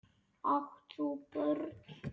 Átt þú börn?